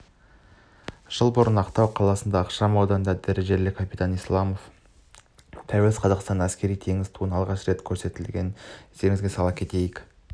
жыл бұрын ақтау қаласының ықшам ауданында дәрежелі капитан исламов тәуелсіз қазақстанның әскери-теңіз туын алғаш рет көтергенін естеріңізге сала кетейік